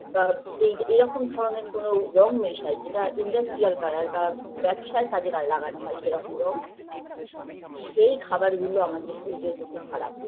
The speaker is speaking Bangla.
বা এই এইরকম ধরনের কোনো রঙ মেশাই যেটা industrial colour বা ব্যাবসার কাজে লাগানো হয় সেরকম রঙ সেই খাবার গুলো আমাদের শরীরের পক্ষে খারাপ